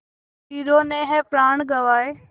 वीरों ने है प्राण गँवाए